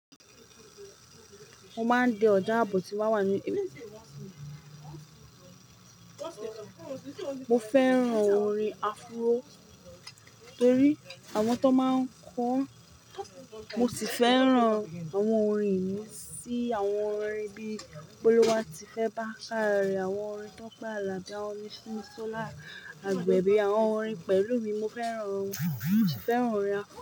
Mo máa ń di ọjà ààbò ti bà wà ní mo fẹ́ràn orin afro torí àwọn tó máa ń kọ́ ọ́n. Mo sì fẹ́ràn àwọn orin yìí sí àwọn orin bíi Boluwatife Bákare, àwọn orin Tope Àlàbí, àwọn orin Simisola Àgbẹ̀bí, àwọn orin Pẹ̀lúmi. Mo fẹ́ràn wọ́n, mo sì fẹ́ràn orin afro.